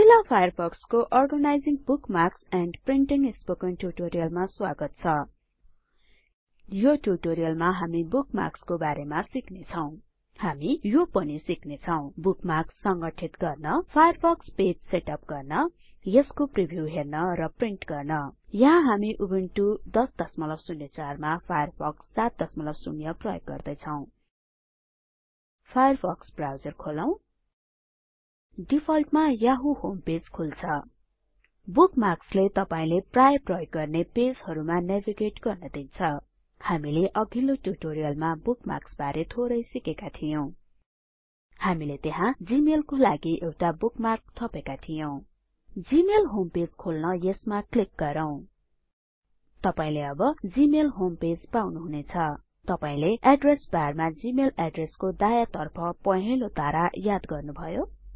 Mozilla Firefox को organising bookmarks and printing spoken ट्युटोरियलमा स्वागत छ यो ट्युटोरियलमा हामी बुकमार्क्सको बारे सिक्ने छौ हामी यो पनि सिक्ने छौं बुकमार्क्स संगठित गर्न फायरफक्स पेज सेटअप गर्न यसको प्रिभ्यु हेर्न र प्रिन्ट गर्न यहाँ हामी उबुन्टु १००४ मा फायरफक्स ७० प्रयोग गर्दै छौ फायर फक्स ब्राउजर खोलौं डिफल्टमा याहु होमपेज खुल्छ बुकमार्क्सले तपाईले प्राय प्रयोग गर्ने पेजहरुमा नेभिगेट गर्न दिन्छ हामीले अघिल्लो ट्युटोरियलमा बुकमार्क्स बारे थोरै सिकेका थियौं हामीले त्यहाँ जीमेल को लागि पनि एउटा बुकमार्क थपेका थियौं जीमेल होम पेज खोल्न यसमा क्लिक गरौ तपाईले अब जीमेल होम पेज पाउनुहुनेछ तपाईले एड्रेस बारमा जीमेल एड्रेसको दायाँ तर्फ पहेंलो तारा याद गर्नुभयो